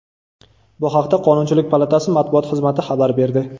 Bu haqda Qonunchilik palatasi matbuot xizmati xabar berdi .